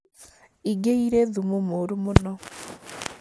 ĩngĩ iri thumu mũru mũno